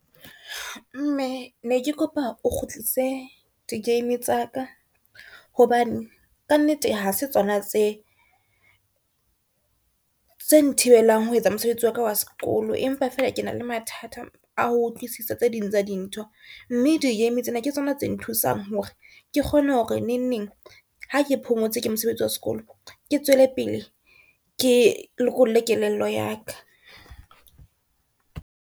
Mme, ne ke kopa o kgutlise di-game tsa ka, hobane ka nnete ha se tsona tse nthibelang ho etsa mosebetsi waka wa sekolo. Empa fela ke na le mathata a ho utlwisisa tse ding tsa dintho, mme di-game tsena ke tsona tse nthusang hore ke kgone hore neng neng ha ke phomotse ke mosebetsi wa sekolo, ke tswele pele ke lokolle kelello ya ka.